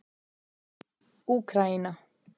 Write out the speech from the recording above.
Úkraína